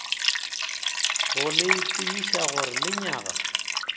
go le tsebiša gore lenyaga